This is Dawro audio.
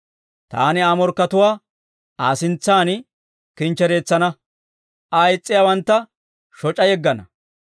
Taani Aa morkkatuwaa Aa sintsan kinchchereetsana; Aa is's'iyaawantta shoc'a yeggana.